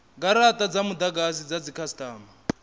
garata dza mudagasi dza dzikhasitama